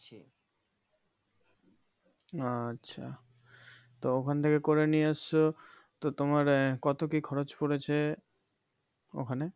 আচ্ছা তো ওখান থেকে করে নিয়ে এসছো তো তোমার আহ কত কি খরচ পড়েছে ওখানে?